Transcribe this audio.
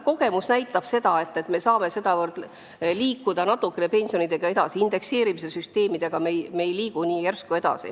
Kogemused näitavad, et me selle abil saame pensionitega natukene edasi liikuda, indekseerimise süsteemi abil see nii ruttu ei õnnestu.